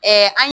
an